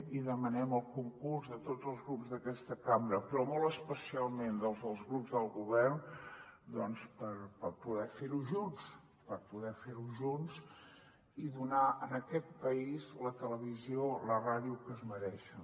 i demanem el concurs de tots els grups d’aquesta cambra però molt especialment el dels grups del govern doncs per poder fer ho junts per poder fer ho junts i donar en aquest país la televisió i la ràdio que es mereixen